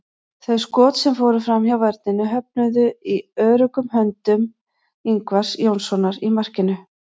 Þau skot sem fóru framhjá vörninni höfnuðu í öruggum höndum Ingvars Jónssonar í markinu.